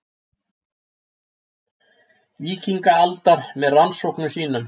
Víkingaaldar með rannsóknum sínum.